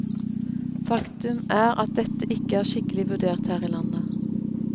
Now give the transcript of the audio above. Faktum er at dette ikke er skikkelig vurdert her i landet.